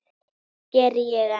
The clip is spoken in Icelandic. Það geri ég enn.